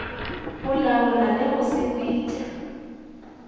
go laola le go sepetša